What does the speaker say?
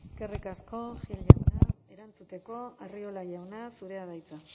eskerrik asko gil jauna erantzuteko arriola jauna zurea da hitza